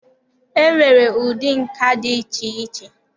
E nwere ụdị nka dị iche iche.